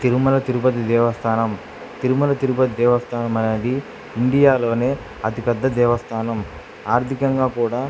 తిరుమల తిరుపతి దేవస్థానం తిరుమల తిరుపతి దేవస్థానం అనేది ఇండియా లోనే అతిపెద్ద దేవస్థానం ఆర్థికంగా కూడా --